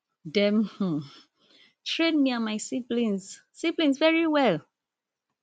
dem um train me and my siblings siblings very well